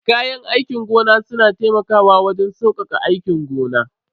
Kayan aikin gona suna taimakawa wajen saukaka aikin gona.